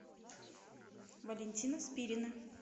валентина спирина